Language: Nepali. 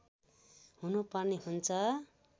हुनु पर्ने हुन्छ